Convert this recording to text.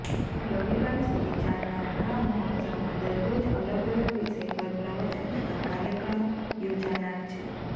રવિવાર સુધી ચાલનારા આ મહોત્સવમાં દરરોજ અલગ અલગ વિષય પર પ્રવચન તથા કાર્યક્રમો યોજાનાર છે